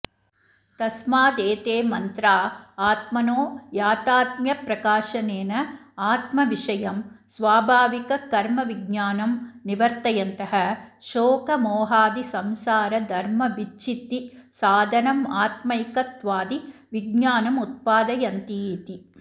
तस्मादेते मन्त्रा आत्मनो याथात्म्यप्रकाशनेन आत्मविषयं स्वाभाविककर्म्विज्ञानं निवर्तयन्तः शोकमोहादिसंसारधर्मविच्छित्तिसाधनमात्मैकत्वादिविज्ञानमुत्पादयन्तीति